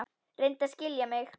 Reyndu að skilja mig.